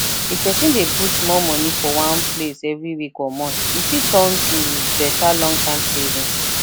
if person dey put small money for one place every week or month e fit turn to better longterm savings